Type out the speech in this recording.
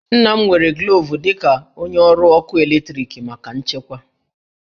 Nna m nwere glovu dị ka onye ọrụ ọkụ eletrik maka nchekwa